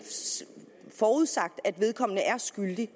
forudsat at vedkommende er skyldig